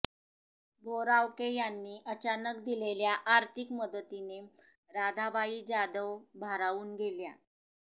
बोरावके यांनी अचानक दिलेल्या आर्थीक मदतीने राधाबाई जाधव भारावून गेल्या